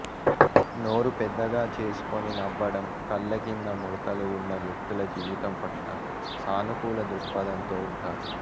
నోరు పెద్దగా చేసుకొని నవ్వడం కళ్ల కింద ముడతలు ఉన్న వ్యక్తులు జీవితం పట్ల సానుకూల దృక్పథంతో ఉంటారు